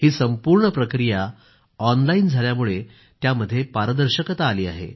ही संपूर्ण प्रक्रिया ऑनलाईन झाल्यामुळे त्यामध्ये पारदर्शकता आली आहे